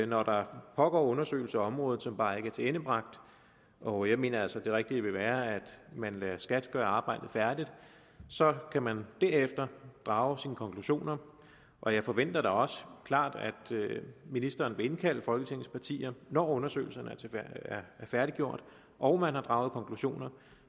når der pågår undersøgelser af området som bare ikke er tilendebragte og jeg mener altså at det rigtige vil være at man lader skat gøre arbejdet færdigt så kan man derefter drage sine konklusioner og jeg forventer da også klart at ministeren vil indkalde folketingets partier når undersøgelserne er færdiggjorte og man har draget konklusioner